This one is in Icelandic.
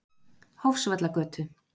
Hofsvallagötu